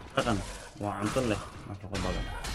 Maraqaan waa cunto leh nafaqo badan.